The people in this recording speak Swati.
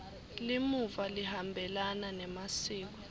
limuva lihambelana nemasiko